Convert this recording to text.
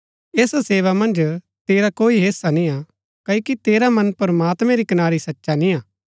ऐसा सेवा मन्ज तेरा कोई हेस्सा निय्आ क्ओकि तेरा मन प्रमात्मैं री कनारी सचा निय्आ